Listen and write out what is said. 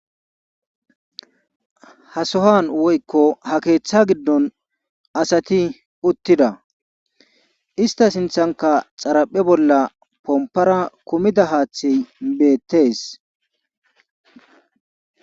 ha sohan woykko ha keeththa giddon asati uttida ista sinthanka xaraphe bolla pompara kumida haaththi beettees